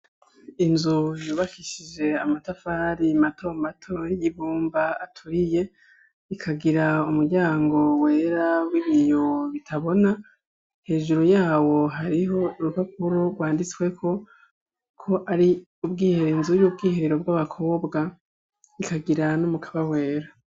Inzu yubakishije amatafari mato mato y'ibumba aturiye, ikagira umuryango wera w'ibiyo bitabona ,hejuru yawo hariho urupapuro rwanditsweko ko ari ubwihero inzu y'ubwiherero bw'abakobwa ,ikagira n'umukaba wera.